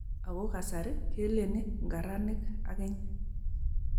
Ako kasari keleni ngaranik akeny.